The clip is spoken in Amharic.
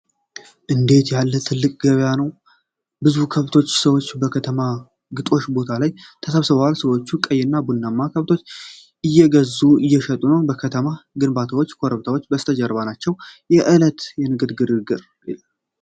እንዴት ያለ ትልቅ ገበያ ነው! ብዙ ከብቶችና ሰዎች በከተማ ግጦሽ ቦታ ላይ ተሰብስበዋል። ሰዎች ቀይና ቡናማ ከብቶችን እየገዙና እየሸጡ ነው። የከተማ ግንባታዎችና ኮረብታዎች ከበስተጀርባ ናቸው። የእለታዊ የንግድ ግርግር!